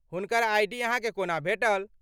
हुनकर आइ.डी. अहाँके कोना भेटल?